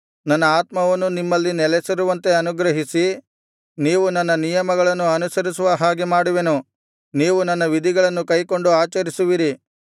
ನನ್ನ ಆತ್ಮವನ್ನು ನಿಮ್ಮಲ್ಲಿ ನೆಲಸಿರುವಂತೆ ಅನುಗ್ರಹಿಸಿ ನೀವು ನನ್ನ ನಿಯಮಗಳನ್ನು ಅನುಸರಿಸುವ ಹಾಗೆ ಮಾಡುವೆನು ನೀವು ನನ್ನ ವಿಧಿಗಳನ್ನು ಕೈಕೊಂಡು ಆಚರಿಸುವಿರಿ